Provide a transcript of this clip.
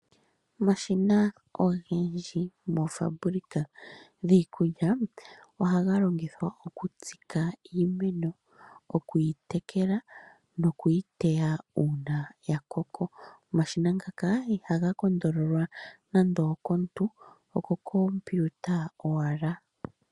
Omashina ogendji moofaabulika dhiikulya , ohaga longithwa okutsika iimeno, okuyi tekela, nokuyi teya uuna yakoko. Omashina ngaka ihaga kondololwa nande okomuntu ihe okoKumpuita owala.